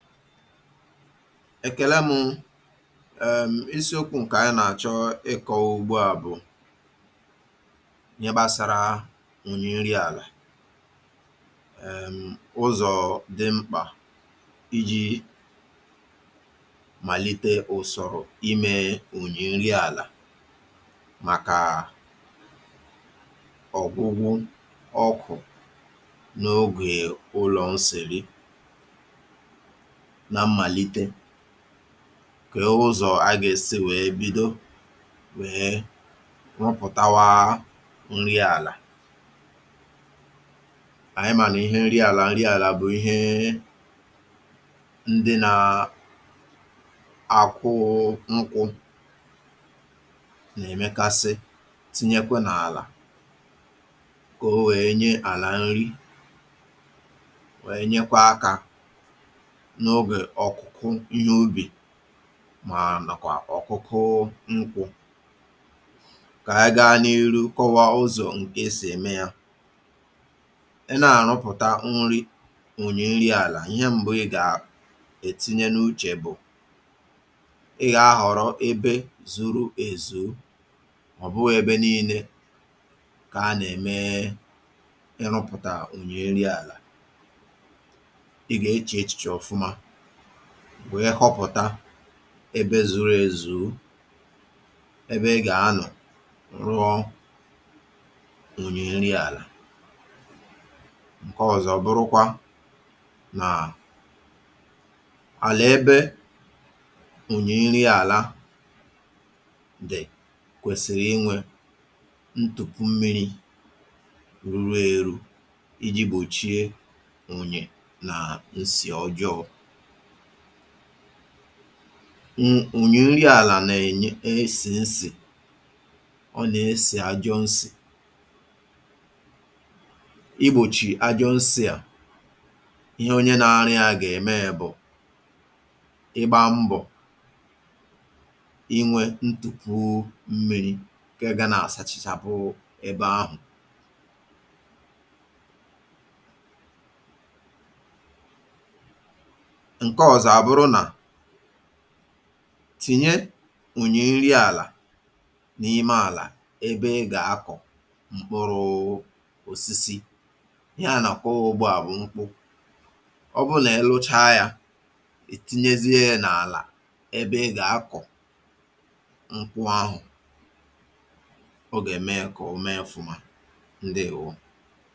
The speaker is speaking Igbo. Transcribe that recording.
Ekèla mụ um isiokwu̇ ǹkè ànyị nà-àchọ ịkọ̇wa ugbu à bụ̀ ihe gbasara udị nri àlà um ụzọ dị mkpà iji màlite ụsọrọ imė ụnyị nri àlà màkà ọgwụgwụ ọkụ̀ n’ogè ụlọ̀ nseri. Na mmalite, kee ụzọ̀ a gà èsi wèe bido wèe rụpụ̀tawa nri àlà. Anyị mànà ihe nri àlà nri àlà bụ̀ ihe ndị nà àkwụụ nkwụ̇ nà-èmekasị tinyekwa nà àlà kà o wèe nye àlà nri, nyekwa aka n'oge ọkụkụ ihe ubi mà nakwà ọ̀kụkụ nkwụ. Kà anyị gaa n’iru kọwaa ụzọ̀ nke esì ème yȧ. Ịnà-àrụpụ̀ta nri ụnyị nri àlà, ihe m̀bụ ị̀ gà ètinye n’uchè bụ̀, ị gà-ahọ̀rọ ebe zuru èzù, ọ̀ bụghị̇ ebe nii̇nė kà a nà-ème ịrụ̇pụ̀tà ụnyị nri àlà. Ị ga-eche echiche ọfụma, wee họpụ̀ta ebe zuru ezù, ebe ị gà-anọ̀ rụọ ụnyị nri àlà. Nkọ ọ̀zọ bụrụkwa nà àlà ebe ụnyị nri àlà dị̀ kwèsịrị inwė ntùpù mmiri̇ ruru eru̇ iji̇ gbòchie ụnyị nà-ǹsì ọjọọ̇. [ụm] Ụnyị nri àlà nà-ènye esì nsì, ọ nà-esì ajọ nsì. Igbòchì ajọ nsì à, ihe onye nȧ-ȧrụ ya gà-ème bụ̀ ịgbȧ mbọ̀ inwė ntùpu mmiri̇ nke ga nà-àsachachapụ ebȧ ahụ̀. Nke ọ̀zọ abụrụ nà, tìnye ụnyị nri àlà n’ime àlà ebe ị gà-akọ̀ mkpụrụụ osisi. Ihe a nàkọ́ ùgbò à bụ̀ nkwụ. Ọ bụrụ nà-ịruchaa yȧ, è tinyezie n’àlà ebe ị gà-akọ̀ nkwụ ȧhụ̀, ọ gà-ème ya kà o mee ọfụ̇mȧ. Ndewo.